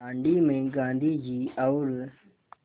दाँडी में गाँधी जी और